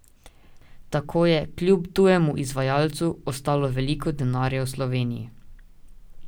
Tako je, kljub tujemu izvajalcu, ostalo veliko denarja v Sloveniji.